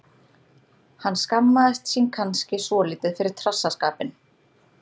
Hann skammast sín kannski svolítið fyrir trassaskapinn.